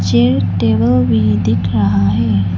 Chair table भी दिख रहा है।